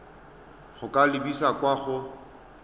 go ka lebisa kwa go